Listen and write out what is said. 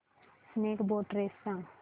snake boat race सांग